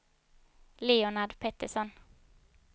Leonard Pettersson